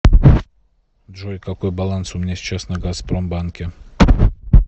джой какой баланс у меня сейчас на газпромбанке